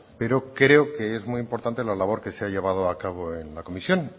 pero creo que es muy importante la labor que se ha llevado a cabo en la comisión